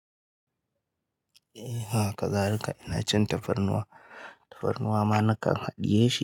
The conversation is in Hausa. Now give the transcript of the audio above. E, haka zalika ina cin tafarnuwa. Tafarnuwa ma na kan haɗiye shi.